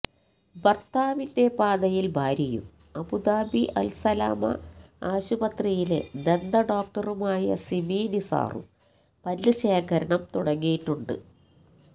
ഭര്ത്താവിന്റെ പാതയില് ഭാര്യയും Abu Dhabi Al Salama ആശുപത്രിയിലെ ദന്ത ഡോക്ടറുമായ സിമി നിസാറും പല്ല് ശേഖരണം തുടങ്ങിയിട്ടുണ്ട്